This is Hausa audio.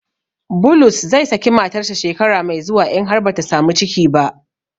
Bulus zai saki matarsa shekara mai zuwa in har bata samu ciki ba.